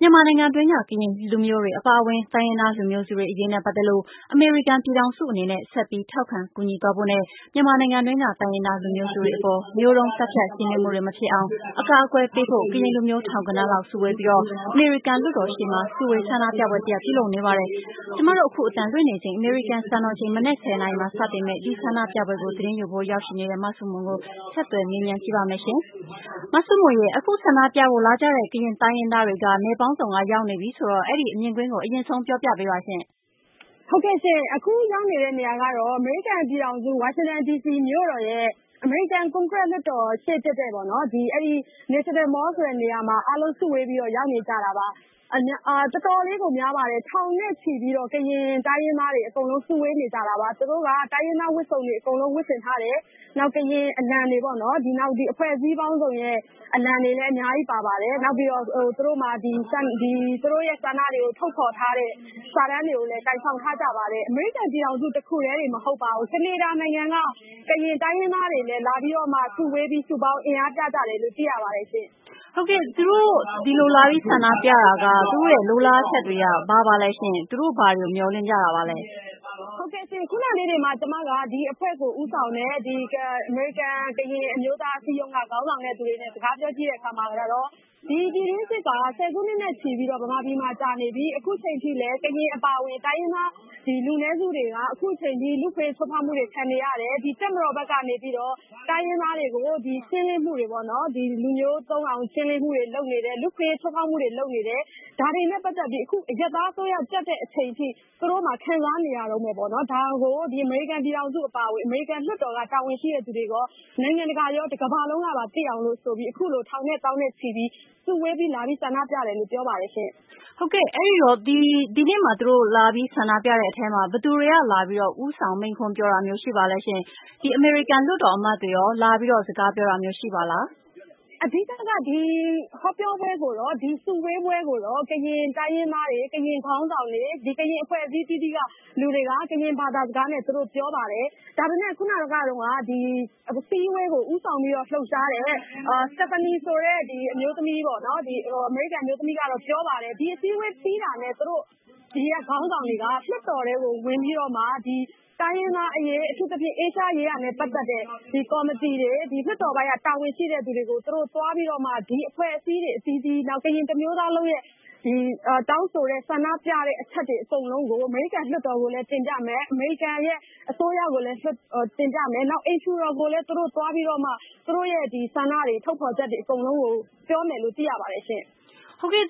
မြန်မာနိုင်ငံတွင်းက ကရင်လူမျိုးတွေအပါအဝင် တိုင်းရင်းသားလူမျိုးစုတွေအရေးနဲ့ပတ်သက်လို့ အမေရိကန်ပြည်ထောင်စုအနေနဲ့ ဆက်ပြီး ထောက်ခံကူညီသွားဖို့နဲ့၊ မြန်မာနိုင်ငံတွင်းက တိုင်းရင်းသားလူမျိုးစုတွေအပေါ် မျိုးတုံးသတ်ဖြတ်ရှင်းလင်းမှုတွေမဖြစ်အောင် အကာအကွယ်ပေးဖို့ ကရင်လူမျိုး ထောင်ဂဏန်းလောက် စုဝေးပြီး အမေရိကန်လွှတ်တော်ရှေ့မှာ စုဝေး ဆန္ဒပြပွဲတရပ်ပြုလုပ်နေပါတယ်။ အမေရိကန်စံတော်ချိန် မနက် ၁၀နာရီမှာ စတဲ့ဒီ ဆန္ဒပြပွဲကို သတင်းယူဖို့ ရောက်ရှိနေတဲ့ မဆုမွန်ကို နန်းလောင်ဝ် က ဆက်သွယ်မေးမြန်းထားပါတယ်။ အခုဆန္ဒပြဖို့လာကြတဲ့ ကရင်တိုင်းရင်းသားတွေက နယ်ပေါင်းစုံ က ရောက်နေပြီဆိုတော့ အဲဒီမြင်ကွင်းကို အရင်ဆုံးပြောပြပေးပါရှင့်။ အခုရောက်နေတဲ့ နေရာကတော့ အမေရိကန်ပြန်ထောင်စု ဝါရှင်တန်ဒီစီမြို့တော်ရဲ့ အမေရိကန်ကွန်ကရက်လွှတ်တော်ရှေ့တည့်တည့်ပေါ့နော် ဒီ National Mall ဆိုတဲ့နေရာမှာ အားလုံးစုဝေးပြီးတော့ ရောက်နေကြတာပါ။ တော်တော်လေးကို များပါတယ်။ ထောင်နဲ့ ချီပြီးတော့ ကရင်တိုင်းရင်းသားတွေ အကုန်လုံးစုဝေးနေကြတာပါ။ သူတို့က တိုင်းရင်းသားဝတ်စုံတွေ အကုန်လုံး ဝတ်ဆင်ထားတယ်။ နောက်ကရင်အလံတွေပေါ့နော် နောက်အဖွဲ့အစည်းပေါင်းစုံရဲ့ အလံတွေလည်း အများကြီးပါပါတယ်။ နောက်ပြီးတော့ သူတို့ဆန္ဒတွေကို ထုတ်ဖော်ထားတဲ့ စာတန်းတွေကိုလည်းကိုင်ဆောင်ထားကြပါတယ်။ အမေရိကန်ပြည်ထောင်စုတခုတည်းတင်မဟုတ်ပါဘူး။ ကနေဒါနိုင်ငံက ကရင်တိုင်းရင်းသားတွေလည်း လာပြီးတော့မှ စုပေါင်းပြီး အင်အားပြကြတယ်လို့ သိရပါတယ်ရှင့်။ သူတို့ ဒီလိုလာပြီးဆန္ဒပြတာက သူတို့လိုလားချက်တွေက ဘာပါလဲ၊ သူတို့ဘာကိုမျှော်လင့်ကြတာပါလဲ ဟုတ်ကဲ့ ခုနလေးတင်မှ ကျမက ဒီအဖွဲ့ကိုဦးဆောင်တဲ့ အမေရိကန် ကရင်အမျိုးသားအစည်းအရုံးကခေါင်းဆောင်တဲ့သူနဲ့ စကားပြောကြည့်တဲ့အခါမှာတော့ ပြည်တွင်းစစ်က ၁၀ စုနှစ်နဲ့ချီပြီးတော့ မြန်မာပြည်မှာကြာနေပြီ အခုအချိန်အထိလည်း ကရင်အပါအဝင် တိုင်းရင်းသား လူနည်းစုတွေက အခုအချိန်အထိ လူ့အခွင့်အရေးချိုးဖော်မှုတွေခံနေရတယ်။ တပ်မတော်ဘက်ကနေပြီးတော့ တိုင်းရင်းသားတွေကို ရှင်းလင်းမှုတွေပေါ့နော် လူမျိုးတုံးအောင်ရှင်းလင်းမှုတွေလုပ်နေတယ်။ လူ့အခွင့်အရေးချိုးဖောက်မှုတွေလုပ်နေတယ်။ ဒါတွေနဲ့ ပတ်သက်ပြီ အရပ်သားအစိုးရတက်လာတဲ့အချိန်အထိ သူတို့မှာ ခံစားနေရတုန်းပဲပေါ့နော်။ ဒါကို အမေရိကန်ပြည်ထောင်စုအပါအဝင် အမေရိကန်လွှတ်တော်က တာဝန်ရှိတဲ့သူတွေရော နိုင်ငံတကာရော၊ တကမ္ဘာလုံးကပါ သိအောင်လို့ဆိုပြီး အခုလို ထောင်နဲ့ သောင်းနဲ့ ချီပြီး စုဝေးပြီးလာဆန္ဒပြတယ်လို့ ပြောပါတယ်ရှင့်။ ဟုတ်ကဲ့ ဒီနေ့လာပြီဆန္ဒပြတဲ့အထဲမှာ ဘယ်သူတွေက ဦးဆောင်မိန့်ခွန်းပြောတာရှိပါသလဲ။ အမေရိကန်လွှတ်တော်အမတ်တွေရော လာပြီးတော့ စကားပြောတာ ရှိပါသလား။ အဓိက ဒီ စုဝေးပွဲကိုတော့ ကရင်တိုင်းရင်းသားတွေ ၊ ကရင်ခေါင်းဆောင်တွေ ကရင်အဖွဲ့အစည်းအသီးသီးက လူတွေက ကရင်ဘာသာစကားနဲ့ သူတို့ပြောပါတယ်။ ဒါပေမယ့် ခုနက အစည်းအဝေးကို ဦးဆောင်ပြီးတော့ လှုပ်ရှားတဲ့ စတက်ဖာနီဆိုတဲ့ အမျိုးသမီးပေါ့ အမေရိကန်အမျိုးသမီးကတော့ ပြောပါတယ်။ ဒီအစည်းအဝေးပြီးတာနဲ့ ဒီကခေါင်းဆောင်တွေက လွှတ်တော်ထဲကို ဝင်ပြီးတော့မှ တိုင်းရင်းသားအရေး အထူးသဖြင့် အာရှရေးရာနဲ့ ပတ်သက်တဲ့ ကော်မတီတွေ၊ လွှတ်တော်ပိုင်းက တာဝန်ရှိတဲ့လူတွေကို သွားပြီးတော့မှ ဒီအဖွဲ့အစည်းတွေအသီးသီး၊ နောက်ကရင်တမျိုးသားလုံးရဲ့ တောင်းဆိုတဲ့ ဆန္ဒပြတဲ့အချက်တွေအကုန်လုံးကို အမေရိကန် လွှတ်တော်ကိုလည်း တင်ပြမယ်၊ အမေရိကန်ရဲ့ အစိုးရကိုလည်း တင်ပြမယ်။ နောက်ပြီးတော့ အိမ်ဖြူတော်ကိုလည်း သွားပြီးတော့မှ သူတို့ရဲ့ဆန္ဒတွေ၊ ထုတ်ဖော်ချက်တွေအကုန်လုံးကို ပြောမယ်လို့ သိရပါတယ်ရှင့်။ ဟုတ်ကဲ့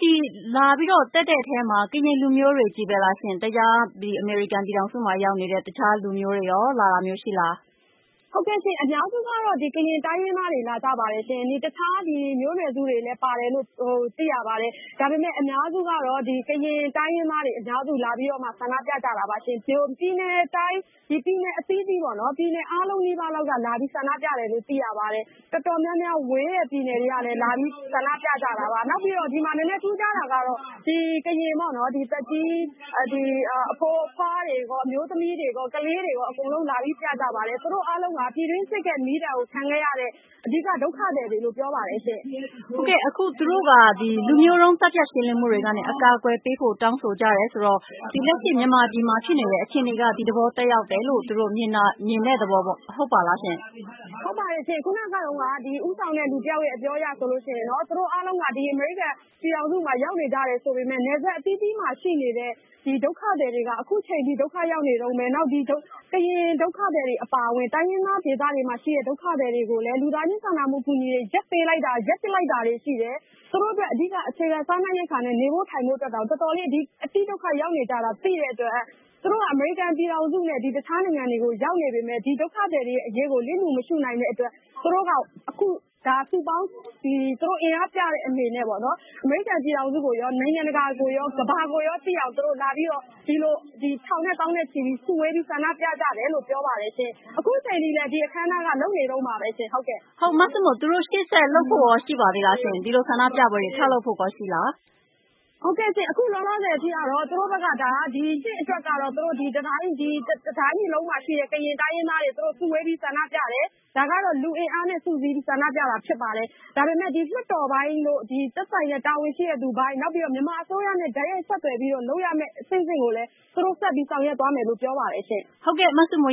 လာပြီးတော့ တက်ရောက်တဲ့အထဲမှာ ကရင်လူမျိုးတွေကြီးပဲလား၊ တခြားအမေရိကန်ပြည်ထောင်စု မှာရောက်နေတဲ့ တခြားတိုင်းရင်းသားလူမျိုးတွေရော လာတာမျိုးရှိလား။ ဟုတ်ကဲ့ရှင့် ၊ အများစုကတော့ ကရင်တိုင်းရင်းသားတွေလာကြပါတယ်၊ တခြားမျိုးနွယ်စုတွေလည်းပါတယ်လို့ သိရပါတယ်။ ဒါပေမယ့် အများစုကတော့ ကရင်တိုင်းရင်းသားတွေ အများစုလာပြီးတော့ ဆန္ဒပြကြတာပါ။ ပြည်နယ်အသီးသီးပေါ့နော် ပြည်နယ်အားလုံးလောက်ကလာပြီးဆန္ဒပြတယ်လို့ သိရပါတယ်။ တော်တော်များများဝေးတဲ့ ပြည်နယ်တွေကလည်း လာပြီးတော့ ဆန္ဒပြကြပါတယ်။ နောက်ပြီးတော့ ဒီမှာ နည်းနည်းထူးခြားတာကတော့ သက်ကြီးအဖိုးအဖွားတွေရော ၊ အမျိုးသမီး၊ ကလေးတွေရော အကုန် လာပြီးပြကြတယ်၊ သူတို့အားလုံးက ပြည်တွင်းစစ်ဒဏ်ကို ခံခဲ့ရတဲ့ အဓိက ဒုက္ခသည်တွေလို့ပြောပါတယ်ရှင့်။ အခုသူတို့က လူမျိုးတုံးသတ်ဖြတ်မှုကနေ အကာအကွယ်ပေးတောင်းဆိုကြတယ်ဆိုတော့ လက်ရှိမြန်မာပြည်မှာ ဖြစ်နေတဲ့ အခြေအနေက ဒီသဘောသက်ရောက်တယ်လို့ မြင်တဲ့သဘောဟုတ်ပါသလားရှင့်။ ဟုတ်ပါတယ်ရှင့်။ ခုနကတုန်းက ဦးဆောင်သူတယောက်ရဲ့အပြောအရဆိုရင် သူတို့အားလုံးက အမေရိကန်ပြည်ထောင်စုမှာ ရောက်နေကြတယ်ဆိုပေမယ့် နယ်စပ်အသီးသီးမှာ ရှိနေတဲ့ ဒုက္ခသည်တွေက အခုအချိန်အထိ ဒုက္ခရောက်တုန်းပဲ နောက် ကရင်ဒုက္ခသည်အပါအဝင် တိုင်းရင်းသားဒေသမှာရှိတဲ့ ဒုက္ခသည်တွေကို လူသားချင်းစာနာမှု အကူအညီတွေ ရပ်ပစ်လိုက်တာတွေရှိတယ်။ သူတို့အတွက် အဓိက အခြေခံစားနပ်ရိက္ခာနဲ့ နေဖို့ထိုင်ဖို့အတွက်တောင်တော်တော်လေး ဒုက္ခရောက်နေရတာ သိတဲ့အတွက် သူတို့ဟာ အမေရိကန်ပြည်ထောင်စုနဲ့ တခြားနိုင်ငံတွေကိုရောက်နေပေမယ့်ဒုက္ခသည်တွေအရေးကို လစ်လှူမရှုနိုင်တဲ့အတွက် သူတို့က စုပေါင်းအင်အားပြတဲ့အနေနဲ့ အမေရိကန်ပြည်ထောင်စုကိုရော နိုင်ငံတကာကိုရော ကမ္ဘာကိုရောသိအောင်လာပြီးတော့ ထောင်နဲ့သောင်းနဲ့ချီပြီး စုဝေးဆန္ဒပြကြတယ်လို့ ပြောပါတယ်ရှင့်။ အခုအချိန်အထိလည်း အခမ်းအနားက လုပ်နေတုန်းပါပဲ။ သူတို့ ရှေ့ဆက်လုပ်ဖို့ရော ဒီလိုဆန္ဒပြပွဲတွေ ဆက်လုပ်ဖို့ရော ရှိပါသေးသလား။ အခုလောလောဆည်အထိကတော့ သူတို့ဘက်က ဒါက ဒီနှစ်အတွက်ကတော့ တတိုင်းပြည်လုံးမှာရှိတဲ့ ကရင်တိုင်းရင်းသားတွေ သူတို့စုဝေးပြီး ဆန္ဒပြတယ်။ ဒါကတော့ လူအင်အားနဲ့ စုပြီးတော့ ဆန္ဒပြတာဖြစ်ပါတယ်။ ဒါပေမယ့်ဒီလွှတ်တော်ပိုင်းတို့ သက်ဆိုင်တဲ့ တာဝန်ရှိတဲ့သူအပိုင်းတို့ကတော့ နောက်ပြီး မြန်မာအစိုးရနဲ့ တိုက်ရိုက်ဆက်သွယ်ပြီးလုပ်ရမယ့်အဆင့်ဆင့်ကိုလည်း သူတို့ဆက်ပြီးတော့ ဆောင်ရွက်သွားမယ်လို့ ပြောပါတယ်ရှင့်။ ဟုတ်ကဲ့ မဆုမွ